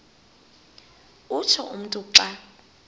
utsho umntu xa